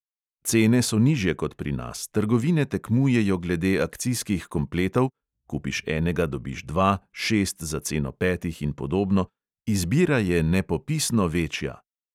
Cene so nižje kot pri nas, trgovine tekmujejo glede akcijskih kompletov (kupiš enega, dobiš dva, šest za ceno petih in podobno), izbira je nepopisno večja.